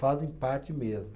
Fazem parte mesmo.